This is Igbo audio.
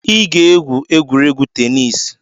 Ị ga-egwu egwuregwu tenis